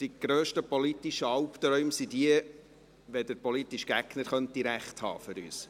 Für uns sind die grössten politischen Albträume, wenn der politische Gegner recht haben könnte.